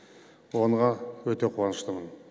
оныға өте қуаныштымын